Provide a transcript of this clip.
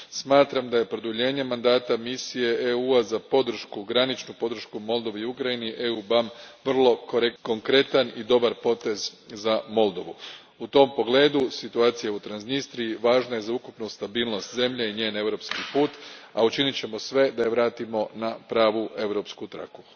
Smatram da je produljenje mandata misije EU a za graničnu podršku Moldovi i Ukrajini, EUBAM, vrlo konkretan i dobar potez za Moldovu. U tom pogledu situacija u Transnistriji važna je za ukupnu stabilnost zemlje i njezin europski put, a učinit ćemo sve da je vratimo na pravu europsku traku.